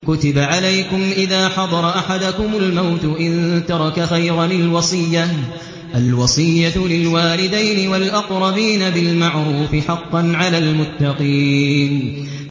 كُتِبَ عَلَيْكُمْ إِذَا حَضَرَ أَحَدَكُمُ الْمَوْتُ إِن تَرَكَ خَيْرًا الْوَصِيَّةُ لِلْوَالِدَيْنِ وَالْأَقْرَبِينَ بِالْمَعْرُوفِ ۖ حَقًّا عَلَى الْمُتَّقِينَ